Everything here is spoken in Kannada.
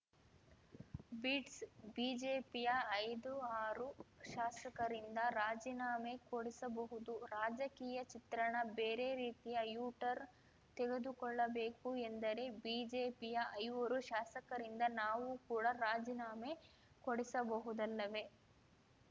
ಬಿಟ್ಸ್‌ ಬಿಜೆಪಿಯ ಐದುಆರು ಶಾಸಕರಿಂದ ರಾಜೀನಾಮೆ ಕೊಡಿಸಬಹುದು ರಾಜಕೀಯ ಚಿತ್ರಣ ಬೇರೆ ರೀತಿಯ ಯೂ ಟರ್ನ್‌ ತೆಗೆದುಕೊಳ್ಳಬೇಕು ಎಂದರೆ ಬಿಜೆಪಿಯ ಐವರು ಶಾಸಕರಿಂದ ನಾವು ಕೂಡ ರಾಜೀನಾಮೆ ಕೊಡಿಸಬಹುದಲ್ಲವೇ